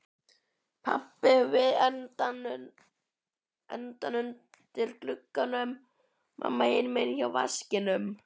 Pabbi við endann undir glugganum, mamma hinum megin hjá vaskinum.